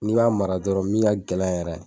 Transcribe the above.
N'i b'a mara dɔrɔn min ka gɛlɛn yɛrɛ .